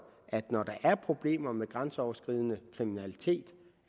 er problemer med grænseoverskridende kriminalitet